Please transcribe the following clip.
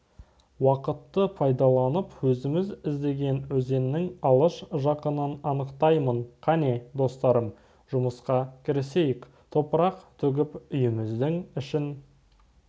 уақытты пайдаланып өзіміз іздеген өзеннің алыс-жақынын анықтаймын қане достарым жұмысқа кірісейік топырақ төгіп үйіміздің ішін